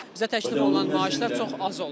Bizə təklif olunan maaşlar çox az olur.